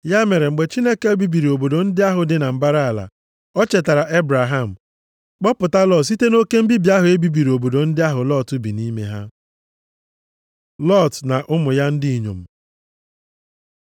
Ya mere, mgbe Chineke bibiri obodo ndị ahụ dị na mbara ala, o chetara Ebraham, kpọpụta Lọt site nʼoke mbibi ahụ e bibiri obodo ndị ahụ Lọt bi nʼime ha. Lọt na ụmụ ya ndị inyom